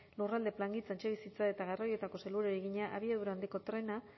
lurralde plangintza etxebizitza eta garraioetako sailburuari egina abiadura handiko trena